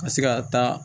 Ka se ka taa